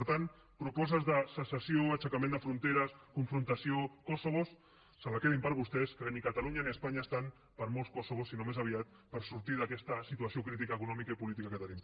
per tant propostes de secessió aixecament de fronteres confrontació kosovos se les quedin per a vostès que ni catalunya ni espanya estan per a molts kosovos sinó més aviat per sortir d’aquesta situació crítica econòmica i política que tenim